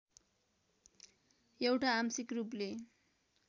एउटा आंशिक रूपले